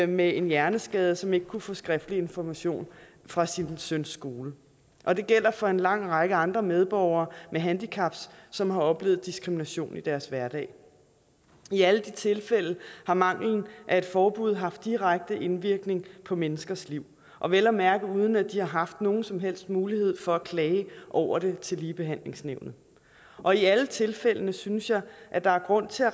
med en hjerneskade som ikke kunne få skriftlig information fra sin søns skole og det gælder for en lang række andre medborgere med handicaps som har oplevet diskrimination i deres hverdag i alle de tilfælde har manglen af et forbud haft direkte indvirkning på menneskers liv og vel at mærke uden at de har haft nogen som helst mulighed for at klage over det til ligebehandlingsnævnet og i alle tilfælde synes jeg at der er grund til at